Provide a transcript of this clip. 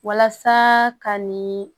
Walasa ka nin